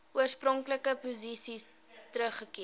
oorspronklike posisie teruggekeer